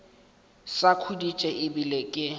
sa khuditše e bile ke